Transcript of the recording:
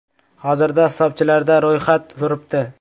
Hozirda hisobchilarda ro‘yxat turibdi.